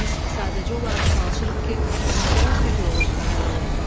Biz sadəcə olaraq çalışırıq ki, məsələ sülh yolu ilə həll olunsun.